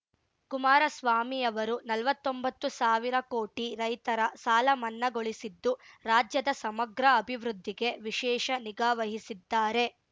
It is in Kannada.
ಕುಮಾರಸ್ವಾಮಿ ಅವರು ನಲ್ವತ್ತೊಂಬತ್ತು ಸಾವಿರ ಕೋಟಿ ರೈತರ ಸಾಲ ಮನ್ನಾಗೊಳಿಸಿದ್ದು ರಾಜ್ಯದ ಸಮಗ್ರ ಅಭಿವೃದ್ಧಿಗೆ ವಿಶೇಷ ನಿಗಾವಹಿಸಿದ್ದಾರೆ